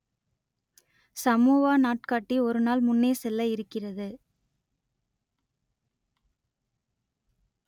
Samoa நாட்காட்டி ஒரு நாள் முன்னே செல்ல இருக்கிறது